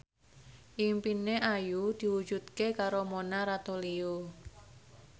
impine Ayu diwujudke karo Mona Ratuliu